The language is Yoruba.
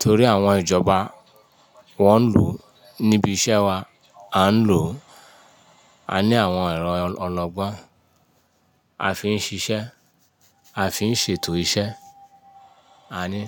torí àwọn ìjọba wọ́n ń lòó níbi iṣẹ́ wa, à ń lò, a ní àwọn ẹ̀rọ ọlọ́gbọ́n, a fi ń ṣíṣẹ́, a fi ń ṣètò iṣẹ́, a ní.